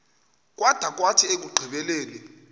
kwada kwathi ekugqibeleni